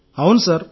అవును సార్